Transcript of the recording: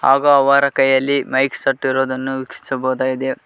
ಹಾಗೂ ಅವರ ಕೈಯಲ್ಲಿ ಮೈಕ್ ಸಟ್ ಇರುವುದನ್ನು ವೀಕ್ಷಿಸಬಹುದಾಗಿದೆ.